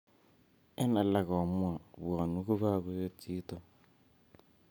En alak komwa pwonwe ko kakoet chito.